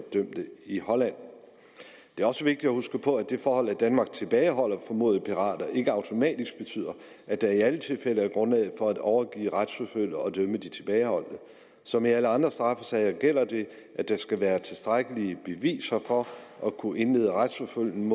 dømte i holland det er også vigtigt at huske på at det forhold at danmark tilbageholder formodede pirater ikke automatisk betyder at der i alle tilfælde er grundlag for at overgive retsforfølge og dømme de tilbageholdte som i alle andre straffesager gælder det at der skal være tilstrækkelige beviser for at kunne indlede retsforfølgning